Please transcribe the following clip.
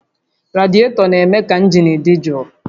Radietọ na-eme ka injin dị jụụ